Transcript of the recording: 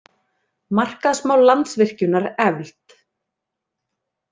Markaðsmál Landsvirkjunar efld